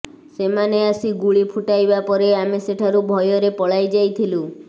ସେମାନେ ଆସି ଗୁଳି ଫୁଟାଇବା ପରେ ଆମେ ସେଠାରୁ ଭୟରେ ପଳାଇ ଯାଇଥିଲୁ